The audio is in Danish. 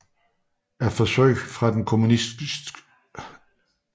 Er forsøg fra den kommunistisk styrede 1